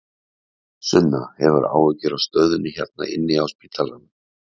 Sunna: Hefurðu áhyggjur af stöðunni hérna inni á spítalanum?